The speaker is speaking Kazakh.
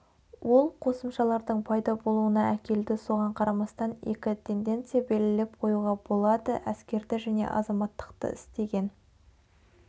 ол қосымшалардың пайда болуына әкелді соған қарамастан екі тенденция белгілеп қоюға болады әскерді және азаматтықты істеген